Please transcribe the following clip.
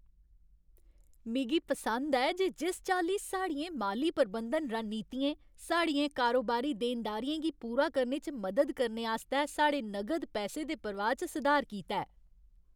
मिगी पसंद ऐ जे जिस चाल्ली साढ़ियें माली प्रबंधन रणनीतियें साढ़ियें कारोबारी देनदारियें गी पूरा करने च मदद करने आस्तै साढ़े नगद पैसे दे प्रवाह् च सुधार कीता ऐ।